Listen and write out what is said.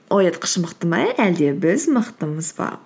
оятқыш мықты ма әлде біз мықтымыз ба